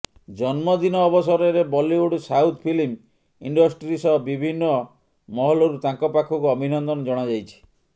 ଜନ୍ମଦିନ ଅବସରରେ Bollywood south film industry ସହ ବିଭିନ୍ନ ମହଲରୁ ତାଙ୍କ ପାଖକୁ ଅଭିନନ୍ଦନ ଜଣାଯାଇଛି